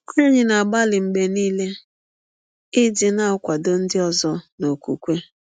Anyị na - agbalị mgbe nile ịdị na - akwadọ ndị ọzọ n’ọkwụkwe.